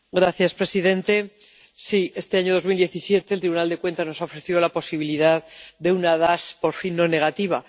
Señor presidente, sí, este año 2017, el Tribunal de Cuentas nos ha ofrecido la posibilidad de una DAS por fin no negativa.